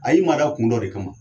A y'i mada kun dɔ de kama